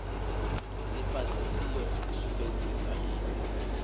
lifhasi nsi yo sumbedzisa i